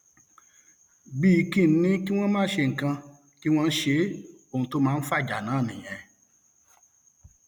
bíi kí n ní kí wọn má ṣe nǹkan kí wọn ṣe é ohun tó máa ń fàjà náà nìyẹn